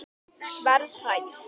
Verð hrædd.